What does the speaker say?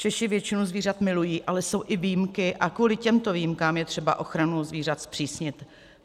Češi většinu zvířat milují, ale jsou i výjimky a kvůli těmto výjimkám je třeba ochranu zvířat zpřísnit.